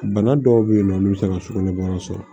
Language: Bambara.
Bana dɔw bɛ yen nɔ olu bɛ se ka sugunɛbara sɔrɔ